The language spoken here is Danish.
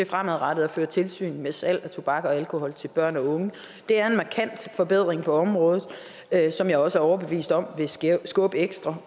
fremadrettet fører tilsyn med salg af tobak og alkohol til børn og unge det er en markant forbedring på området som jeg også er overbevist om vil skubbe ekstra